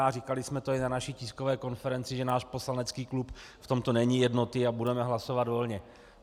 A říkali jsme to i na naší tiskové konferenci, že náš poslanecký klub v tomto není jednotný a budeme hlasovat volně.